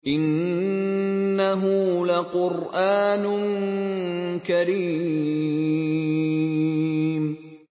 إِنَّهُ لَقُرْآنٌ كَرِيمٌ